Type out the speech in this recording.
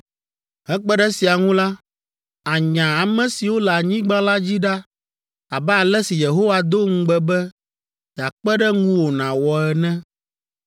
Hekpe ɖe esia ŋu la, ànya ame siwo le anyigba la dzi ɖa abe ale si Yehowa do ŋugbe be yeakpe ɖe ŋuwò nàwɔ ene.